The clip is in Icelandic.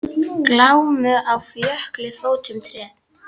Glámu á jökli fótum treð.